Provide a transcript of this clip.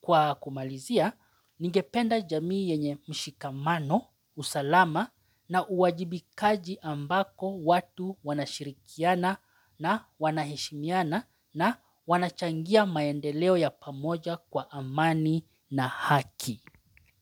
Kwa kumalizia, ningependa jamii yenye mshikamano, usalama na uwajibikaji ambako watu wanashirikiana na wanaheshimiana na wanachangia maendeleo ya pamoja kwa amani na haki.